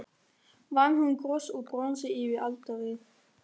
Vann hún kross úr bronsi yfir altarið.